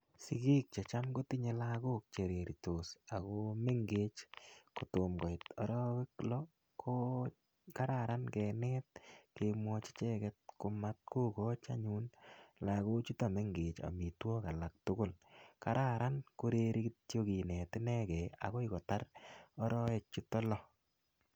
Sigik chechamkotinye lagok chereritos ago mengech kotom koit arowek loo ko kararan kenet kemwochi ichek komatgokachi anyun lagochuton mengech amitwokik alaktugul. Karan koreri kityo kinet inegen agoikotar arowek chuton loo